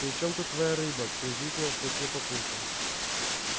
при чём тут твоя рыба презрительно спросил папулька